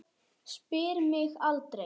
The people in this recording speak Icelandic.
Spyr mig aldrei.